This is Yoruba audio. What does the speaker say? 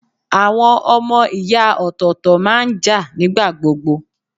Àwọn ọmọ ìyá ọ̀tọ̀ọ̀tọ̀ máa ń jà nigbagbogbo.